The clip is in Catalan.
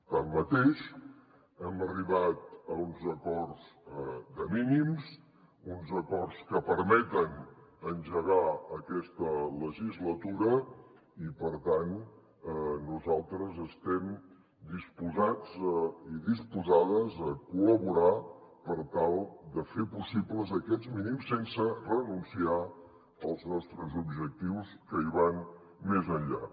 tanmateix hem arribat a uns acords de mínims uns acords que permeten engegar aquesta legislatura i per tant nosaltres estem disposats i disposades a col·laborar per tal de fer possibles aquests mínims sense renunciar als nostres objectius que hi van més enllà